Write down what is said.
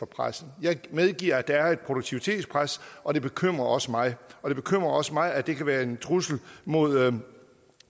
pressen jeg medgiver at der er et produktivitetspres og det bekymrer også mig det bekymrer også mig at det kan være en trussel mod